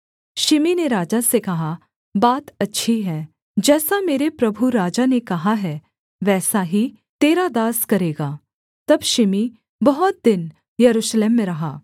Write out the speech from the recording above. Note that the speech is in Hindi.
शिमी ने राजा से कहा बात अच्छी है जैसा मेरे प्रभु राजा ने कहा है वैसा ही तेरा दास करेगा तब शिमी बहुत दिन यरूशलेम में रहा